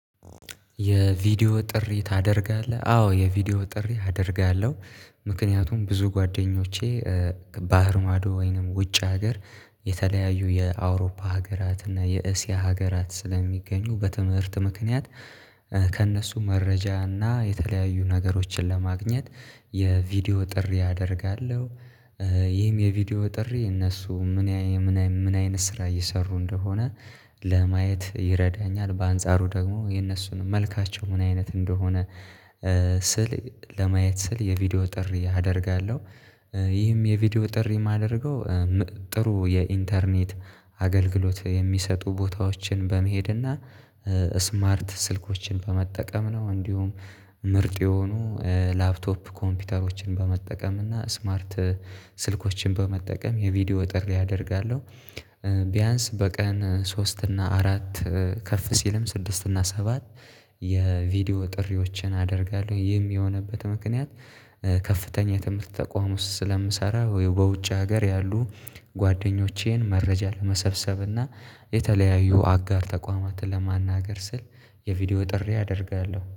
የቪዲዮ ጥሪ ታደርጋለህ አዎ የቪዲዮ ጥሪ አደርጋለሁ። ምክንያቱም ብዙ ጓደኞቼ ባህር ማዶ ወይንም ውጭ ሀገር የተለያዩ የአውሮፓ ሀገራት እና የእስያ ሀገራት ስለሚገኙ በትምህርት ምክንያት። ከእነሱ መረጃ እና የተለያዩ ነገሮችን ለማግኘት የቪዲዮ ጥሪ አደርጋለሁ። ይህም የቪዲዮ ጥሪ እነሱ ምን አይነት ምን ምን አይነት ስራ እየሰሩ እንደሆነ ለማየት ይረዳኛል። በአንጻሩ ደግሞ የነሱን መልካቸው ምን አይነት እንደሆነ ስል ለማየት ስል የቪዲዮ ጥሪ አደርጋለሁ። ይህም የቪዲዮ ጥሪ የማደርገው ጥሩ የኢንተርኔት አገልግሎት የሚሰጡ ቦታዎችን በመሄድና ስማርት ስልኮችን በመጠቀም ነው። እንዲሁም ምርጥ የሆኑ ላፕቶፕ ኮምፒውተሮችን በመጠቀም እና ስማርት ስልኮችን በመጠቀም የቪዲዮ ጥሪ አደርጋለሁ። ቢያንስ በቀን ሶስት እና አራት ከፍ ሲልም ስድስት እና ሰባት የቪዲዮ ጥሪዎችን አደርጋለሁ። ይህም የሆነበት ምክንያት ከፍተኛ የትምህርት ተቋም ውስጥ ስለምሰራ ወይ በውጭ ሀገር ያሉ ጓደኞቼን መረጃ ለመሰብሰብና የተለያዩ አጋር ተቋማትን ለማናገር ስል የቪዲዮ ጥሪ አደርጋለሁ